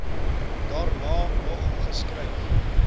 daarna nog geskryf